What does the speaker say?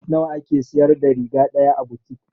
Nawa a ke siyar da riga ɗaya a butik?